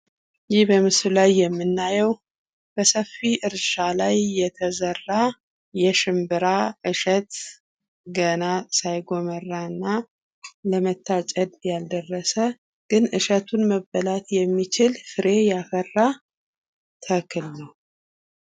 ይህ በምስሉ ላይ የምናየው ሰፊ እርሻ ላይ የተዘራ የሽንብራ እሸት ገና ሳይጎመራና ለመታጨድ ያልደረሰ ግን እሸቱን መበላት የሚችል ፍሬ ያፈራ ተክል ነው።